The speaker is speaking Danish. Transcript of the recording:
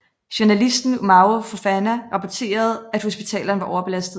Journalisten Umaru Fofana rapporterede at hospitalerne var overbelastede